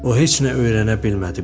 O heç nə öyrənə bilmədi,